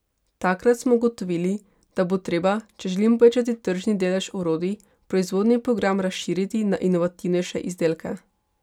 Takrat smo ugotovili, da bo treba, če želimo povečati tržni delež orodij, proizvodni program razširiti na inovativnejše izdelke.